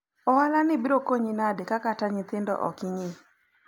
hii biashara itakufaidi vipi kama hata watoto huangalii vizuri?